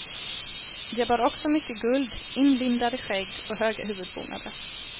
De bar också mycket guld, inlindade skägg och höga huvudbonader.